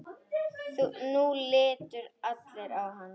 Nú litu allir á hann.